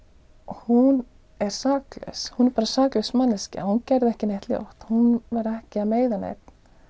hún er saklaus hún er bara saklaus manneskja hún gerði ekki neitt ljótt hún var ekki að meiða neinn